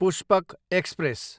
Pushpak express